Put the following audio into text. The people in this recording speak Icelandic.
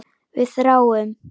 Við þráum.